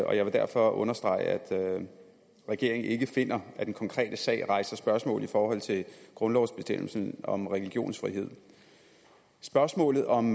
og jeg vil derfor understrege at regeringen ikke finder at den konkrete sag rejser spørgsmål i forhold til grundlovsbestemmelsen om religionsfrihed spørgsmålet om